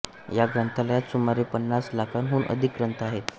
या ग्रंथालयात सुमारे पन्नास लाखांहून अधिक ग्रंथ आहेत